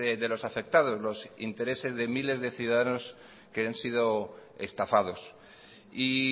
de los afectados los intereses de miles de ciudadanos que han sido estafados y